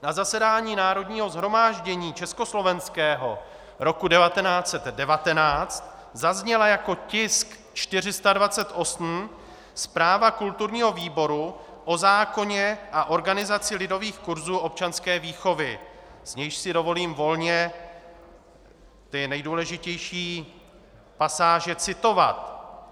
Na zasedání Národního shromáždění československého roku 1919 zazněla jako tisk 428 zpráva kulturního výboru o zákoně a organizaci lidových kurzů občanské výchovy, z níž si dovolím volně ty nejdůležitější pasáže citovat.